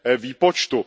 výpočtu.